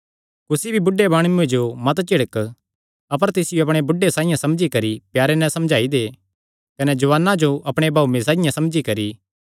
कुसी भी बुढे माणुये जो मत झिड़क अपर तिसियो अपणे बुढ़े साइआं समझी करी प्यारे नैं समझाई दे कने जुआनां जो अपणे भाऊये साइआं समझी करी